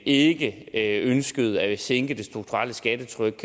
ikke ønskede at sænke det strukturelle skattetryk